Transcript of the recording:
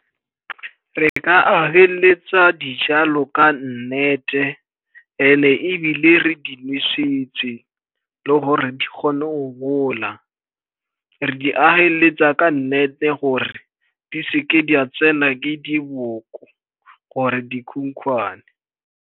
Re ka ageleletsa dijalo ka nnete, and-e ebile re di nosetse le gore di kgone go gola. Re di ageleletsa ka nnete gore di se ke di a tsena ke diboko or-e dikhukhwane.